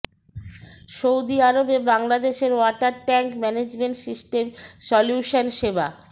Saudi আরবে বাংলাদেশের water tank management system solution সেবা